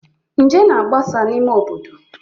Nje na-agbasa n'ime obodo